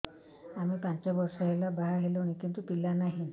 ଆମେ ପାଞ୍ଚ ବର୍ଷ ହେଲା ବାହା ହେଲୁଣି କିନ୍ତୁ ପିଲା ନାହିଁ